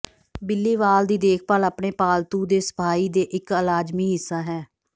ਬਿੱਲੀ ਵਾਲ ਦੀ ਦੇਖਭਾਲ ਆਪਣੇ ਪਾਲਤੂ ਦੇ ਸਫਾਈ ਦੇ ਇੱਕ ਲਾਜ਼ਮੀ ਹਿੱਸਾ ਹੈ